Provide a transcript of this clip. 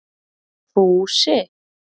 Fúsi